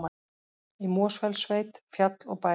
Í Mosfellssveit, fjall og bær.